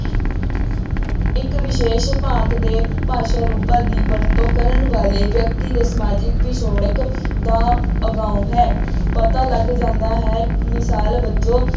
ਇੱਕ ਵਿਸ਼ੇਸ਼ ਭਾਂਤ ਦੇ ਭਾਸ਼ਾ ਰੂਪਾਂ ਦੀ ਵਰਤੋਂ ਕਰਨ ਵਾਲੇ ਵਿਅਕਤੀ ਦੇ ਸਮਾਜਿਕ ਪਿਛੋਕੜ ਦਾ ਅਗਾਊਂ ਹੈ, ਪਤਾ ਲੱਗ ਜਾਂਦਾ ਹੈ, ਮਿਸਾਲ ਵਜੋਂ